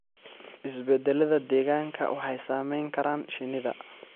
Isbeddellada deegaanka waxay saameyn karaan shinnida.